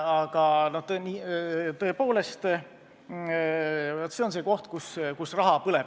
Aga tõepoolest, vaat see on koht, kus raha põleb.